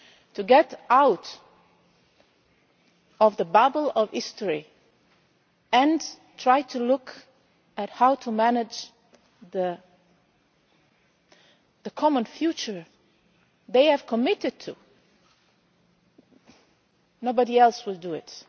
to get out of the bubble of history and try to look at how to manage the common future they have committed to, nobody else will do it.